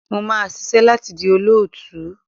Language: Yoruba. Mo máa ṣisẹ́ láti di olóòtú.